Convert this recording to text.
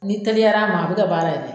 N'i teliyar'a ma, a bɛ kɛ baara ye dɛ.